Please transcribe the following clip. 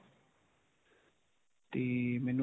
ਤੇ.